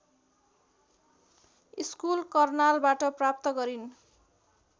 school करनालबाट प्राप्त गरिन्